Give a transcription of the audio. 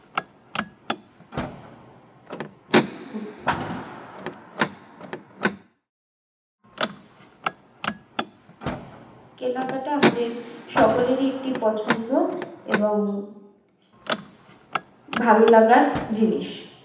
কেনাকাটা আমাদের সকলেই একটি পছন্দ এবং ভালো লাগার জিনিস